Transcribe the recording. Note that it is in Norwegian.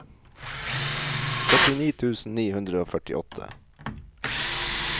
førtini tusen ni hundre og førtiåtte